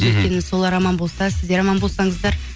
өйткені солар аман болса сіздер аман болсаңыздар